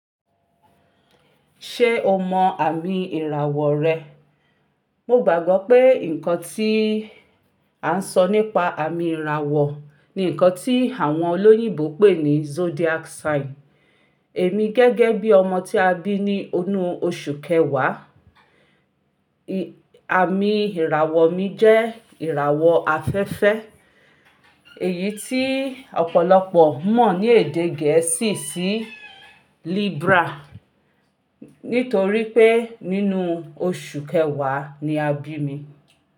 Ṣé o mọ àmì ìràwọ̀ rẹ? Mo gbàgbọ́ pé nǹkan tí à ń sọ nípa àmì ìràwọ̀ ni nǹkan tí àwọn olóyìnbo pè ní zodiac sign. Èmi gẹ́gẹ́ bí ọmọ tí a bí ní inú oṣù kẹwàá, àmì ìràwọ̀ mi jẹ́ ìràwọ̀ afẹ́fẹ́ èyí tí ọ̀pọ̀lọpọ̀ mọ̀ ní èdè gẹ̀ẹ́sì sí Libra, nítorí pé nínú oṣù kẹwàá ni a bí mi.